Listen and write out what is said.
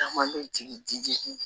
Caman bɛ jigin di